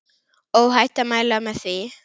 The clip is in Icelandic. Óhætt að mæla með því.